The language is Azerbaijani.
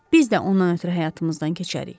Biz də ondan ötrü həyatımızdan keçərik.